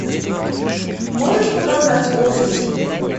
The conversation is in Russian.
можешь показать офис